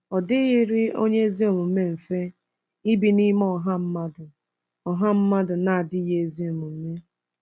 Ọ dịghịrị onye ezi omume mfe ibi n’ime ọha mmadụ ọha mmadụ na-adịghị ezi omume.